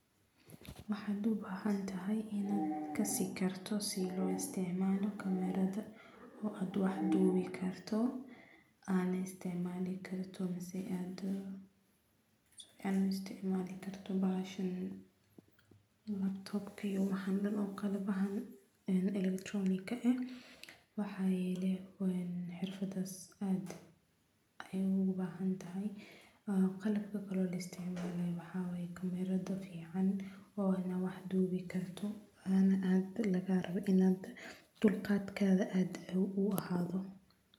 Waxa dubahay hadabina kasi kartoh s lo isticmaloh camera oobwax doob kartoh aa isticmali kartoh waxan oo qalab waxay leedahay xeerfadas Aya ugu wacantahay qalabka la isticmaloh ee maxawaye cameeradaa fican ee wax doobi kartoh an aa lagarabah dulqatketha inu ahaathoh.